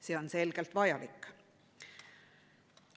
See on selgelt vajalik.